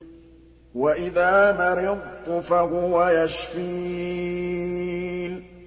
وَإِذَا مَرِضْتُ فَهُوَ يَشْفِينِ